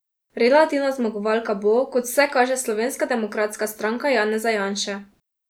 Relativna zmagovalka bo, kot vse kaže Slovenska demokratska stranka Janeza Janše.